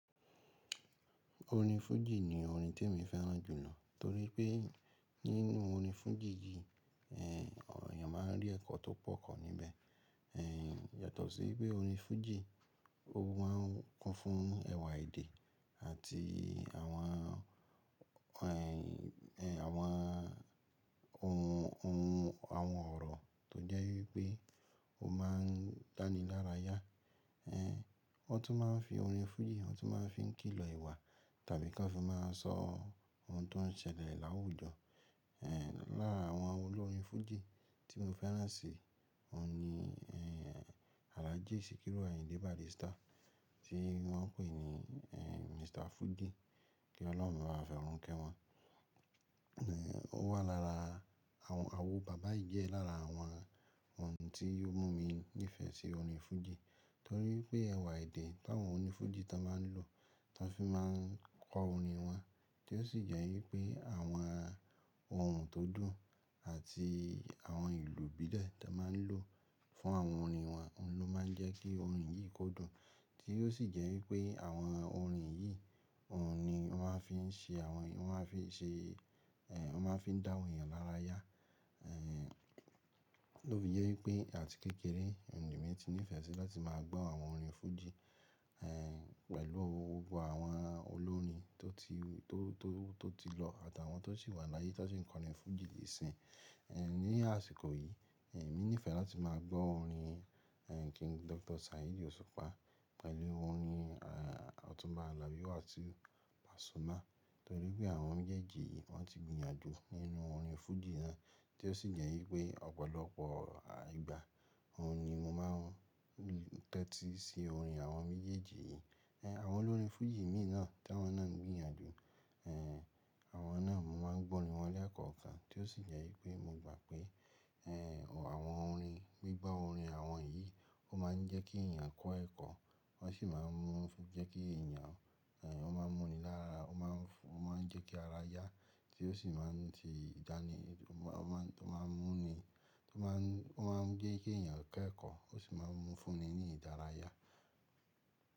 Orin fújì ní orin tí èmi fẹ́ràn jùlọ torí pé nínú orin fújì yìí, ẹ̀yàn máa ń rí ẹ̀kọ́ tó pọ̀ kọ̀ níbẹ̀. Yàtọ̀ sí pé orin fújì, o máa ń kún fún ẹwà èdè àti àwọn, àwọn ohun, ohun, àwọn ọ̀rọ̀ tó jẹ́ wípé o máa ń dáni lára yá. Wọ́n tún máa ń fi orin fújì, wọ́n tún máa ń fi ń kìlọ̀ ìwà tàbí kí wọ́n fi máa sọ ohun tó ń ṣẹlẹ̀ láwùjọ. Lára àwọn olórin fújì tí mo fẹ́ràn sì, òun ni, Alhaji Sikiru Ayinde Barrister tí wọ́n ń pè ní, Mr. Fuji, kí ọlọ́run bá wà forun ké wọn. Ó wà lára àwọn, àwon bàbá yì jẹẹ́ lára àwọn ohun tí o mú mi nífẹ̀ẹ́ sí orin fújì torí pé ẹwà èdè tàwọn onífújì tó máa ń lò, tó fi máa ń kọ orin wọn tó sì jẹ́ wípé àwọn ohùn tó dùn àti àwọn ìlù ìbílẹ̀ ta máa ń lò fún àwọn orin wa, òun ló máa ń jẹ́ kí orin yìí kó dùn, tí ó sì jẹ́ wípé àwọn orin yìí, òun ni wọ́n a fi ń ṣe àwọn, wọ́n a fi ń ṣe, ẹ̀, wọ́n ma fi ń dá àwọn èèyàn lára yá. Ẹ̀, lófi jẹ wípé àti kékeré, n lèmi ti nífẹ̀ẹ́ sí láti máa gbọ́ àwọn orin fújì, ẹ̀, pẹ̀lú gbogbo àwọn olórin tó ti, tó, tó, tó ti lọ àti àwọn tó sì wà láyé tó sì ń kọ orin fújì di isin. Ẹ̀, ni àsìkò yìí, ẹ̀, èmi nífẹ̀ẹ́ láti máa gbọ́ orin, ẹ̀, King Dr. Saheed Osupa pẹ̀lú orin, ẹ̀, Ọ̀túnba Alabi Wasiu Pasuma torí pé àwọn méjèèjì yìí wọ́n ti gbìyànjú nínú orin fújì náà tí ó sì jẹ́ wípé ọ̀pọ̀lọpọ̀ àígbà, òun ni mo máa ń tẹ́tí sí orin àwọn méjèèjì yìí. Ẹ̀, àwọn olórin fújì mìíràn tí wọ́n náà ń gbìyànjú, ẹ̀, àwọn náà mo máa ń gbọ́ orin wọn lékọ́okan tí ó sì jẹ́ wípé mo gbà pé, ẹ̀, àwọn orin, gbígbọ́ orin àwọn yìí, ó máa ń jẹ́ kí èèyàn kọ́ ẹ̀kọ́, wọ́n sì máa ń mú jẹ́ kí èèyàn, ẹ̀, ó máa mú ni lára, ó máa ń fún, ó máa ń jẹ́ kí ara yá tí ó sì máa ń di ìdánimọ̀, ó máa ń, ó máa ń mú ni, ó máa ń, ó máa ń gbé kí èèyàn kẹ́ ẹ̀kọ́ ó sì máa ń mú fún ni ní ìdárayá.